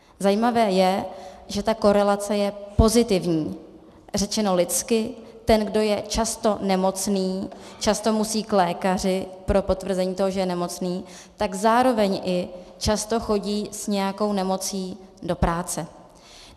Zajímavé je, že ta korelace je pozitivní, řečeno lidsky, ten, kdo je často nemocný, často musí k lékaři pro potvrzení toho, že je nemocný, tak zároveň i často chodí s nějakou nemocí do práce.